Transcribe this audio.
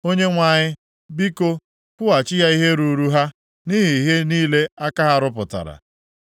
Onyenwe anyị, biko, kwụghachi ha ihe ruuru ha, nʼihi ihe niile aka ha rụpụtara.